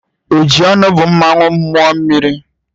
Ojionu bu mmanwu mmuo mmiri.